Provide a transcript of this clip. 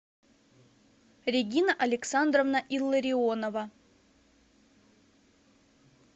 регина александровна илларионова